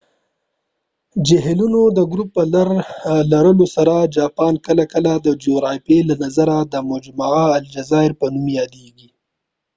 د جهیلونو د ګروپ په لرلو سره جاپان کله کله د جغرافیې له نظریه د مجمع الجزایز په نوم یادېږي